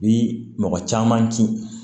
Bi mɔgɔ caman kin